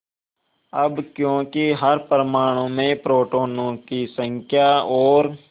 अब क्योंकि हर परमाणु में प्रोटोनों की संख्या और